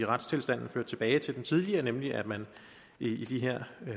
retstilstanden ført tilbage til den tidligere nemlig at man i de her